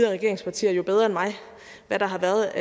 regeringspartier jo bedre end mig hvad der har været